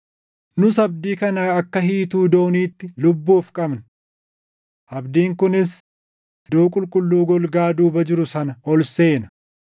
Nus abdii kana akka hiituu dooniitti lubbuuf qabna. Abdiin kunis iddoo qulqulluu golgaa duuba jiru sana ol seena;